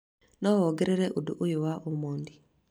No wongerera ũndũ ũyũ wa omondi